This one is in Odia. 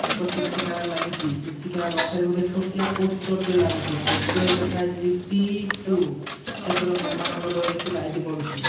ଏକ ସିସି କ୍ୟାମେରା ଲାଗିଚି ସିସି କ୍ୟାମେରା ପାଖରେ ଗୋଟେ ଛୋଟିଆ ପୋଷ୍ଟର ଲାଗିଚି ପୋଷ୍ଟରେ ଲେଖା ହେଇଚି ପି ଟୁ ସେପଟେ ହନୁମାନ କିଛି ଲାଇଟ୍ ପଡ଼ୁଚି।